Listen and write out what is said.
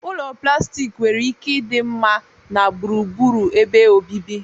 Ụlọ plastik nwere ike ịdị mma na gburugburu ebe obibi.